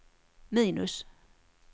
minus